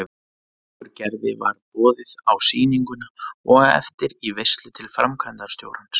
Okkur Gerði var boðið á sýninguna og á eftir í veislu til framkvæmdastjórans.